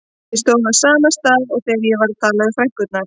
Ég stóð á sama stað og þegar ég var að tala við frænkurnar.